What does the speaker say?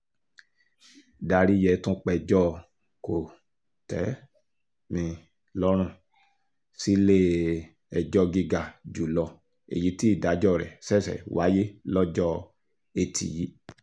daríyẹ tún péjọ kò-tẹ́-mi-lọ́rùn sílé-ẹjọ́ gíga jù lọ èyí tí ìdájọ́ rẹ̀ ṣẹ̀ṣẹ̀ wáyé lọ́jọ́ etí yìí